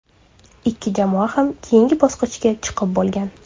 Ikki jamoa ham keyingi bosqichga chiqib bo‘lgan.